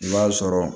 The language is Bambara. I b'a sɔrɔ